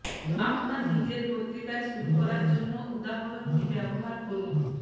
আপনার নিজের পত্রিকায় শুরু করার জন্য উদাহরণটি ব্যবহার করুন